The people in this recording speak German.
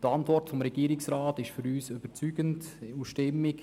Die Antwort des Regierungsrats ist für uns überzeugend und stimmig.